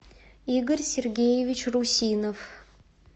игорь сергеевич русинов